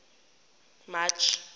march